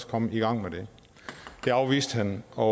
komme i gang med det det afviste han og